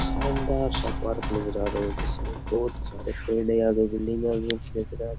शानदार सा पार्क नजर आ रहा है जिसमे बहुत सारे पड़े वगैरा भी लगे दिख रहे है।